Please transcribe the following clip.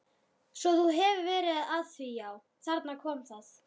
Svo þú hefur verið að því já, þarna kom það.